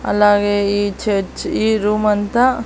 అలాగే ఈ చర్చ్ ఈ రూమ్ అంతా--